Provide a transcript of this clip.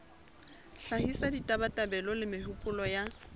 hlahisa ditabatabelo le mehopolo ya